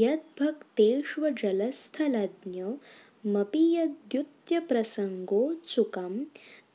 यद्भक्तेष्वजलस्थलज्ञमपि यद्दूत्यप्रसङ्गोत्सुकं